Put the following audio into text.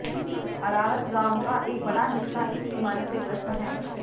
अरारस गांव का एक बड़ा हिस्सा इस बीमारी से ग्रस्त है